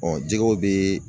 jɛgɛw bɛ